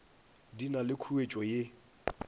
di na le khuetšo ye